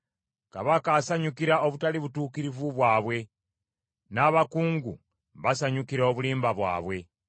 “Kabaka asanyukira obutali butuukirivu bwabwe, n’abakungu basanyukira obulimba bwabwe.